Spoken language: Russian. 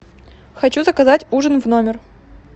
хочу заказать ужин в номер